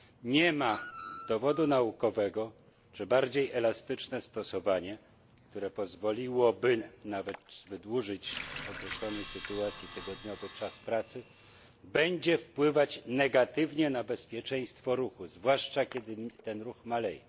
Nie ma dowodu naukowego, że bardziej elastyczne stosowanie, które pozwoliłoby nawet wydłużyć w określonej sytuacji tygodniowy czas pracy, będzie wpływać negatywnie na bezpieczeństwo ruchu, zwłaszcza kiedy ten ruch maleje.